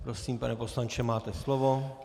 Prosím, pane poslanče, máte slovo.